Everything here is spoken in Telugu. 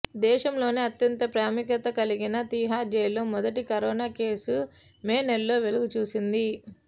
దేశంలోనే అత్యంత ప్రాముఖ్యత కలిగిన తీహార్ జైలులో మొదటి కరోనా కేసు మే నెలలో వెలుగుచూసింది